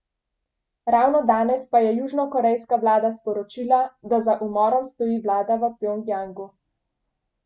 Ravno danes pa je južnokorejska vlada sporočila, da za umorom stoji vlada v Pjongjangu.